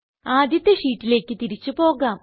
ആദ്യത്തെ ഷീറ്റിലേക്ക് തിരിച്ച് പോകാം